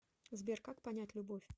сбер как понять любовь